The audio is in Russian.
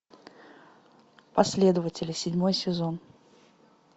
последователи седьмой сезон